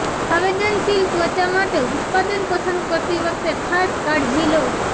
સંવેદનશીલ ત્વચા માટે ઉત્પાદન પસંદ કરતી વખતે ખાસ કાળજી લો